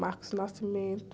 Marcos Nascimento.